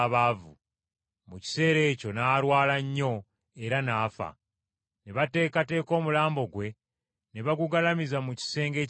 Mu kiseera ekyo n’alwala nnyo era n’afa. Ne bateekateeka omulambo gwe ne bagugalamiza mu kisenge ekya waggulu.